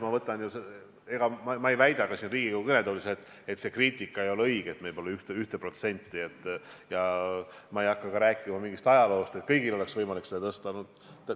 Ma ei väida siin Riigikogu kõnetoolis, et see kriitika ei ole õige, et meil pole 1%, ega hakka praegu ka rääkima ajaloost või sellest, et kõigil oleks olnud võimalik seda tõsta.